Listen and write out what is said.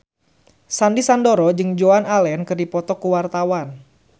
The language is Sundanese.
Sandy Sandoro jeung Joan Allen keur dipoto ku wartawan